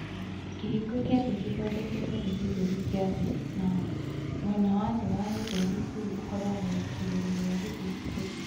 Kĩhingo kĩa thĩ nĩ gĩthondeketwo nĩ gĩthũri kĩa thĩ na mwena wa thĩ wa gĩthũri kĩu ũkoragwo igũrũ rĩa gĩthũri kĩu.